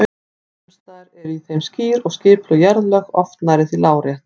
Sums staðar eru í þeim skýr og skipuleg jarðlög, oft nærri því lárétt.